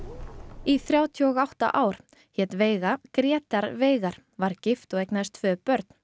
í þrjátíu og átta ár hét veiga Grétar Veigar var gift og eignaðist tvö börn